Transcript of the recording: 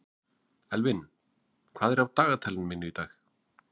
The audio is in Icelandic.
Elvin, hvað er á dagatalinu mínu í dag?